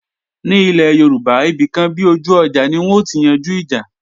Ní ilé Yorùbá, ibìkan bi ojú ọjà ni wọn ó ti yanjú ìjà